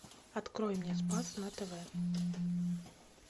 открой мне спас на тв